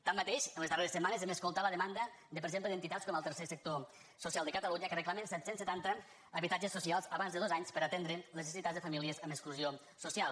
tanmateix en les darreres setmanes hem escoltat la demanda per exemple d’entitats com el tercer sector social de catalunya que reclamen set cents i setanta habitatges socials abans de dos anys per atendre les necessitats de famílies en exclusió social